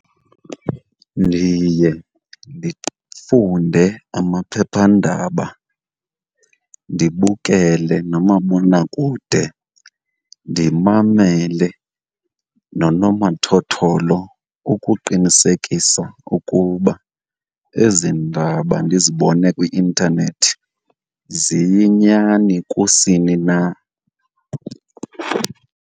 Ndiye ndifunde amaphephandaba, ndibukele nomabonakude, ndimamele nonomathotholo ukuqinisekisa ukuba ezi ndaba ndizibone kwi-intanethi ziyinyani kusini na.